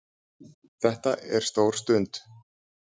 Þetta er stór stund